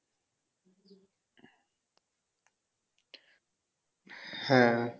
হ্যাঁ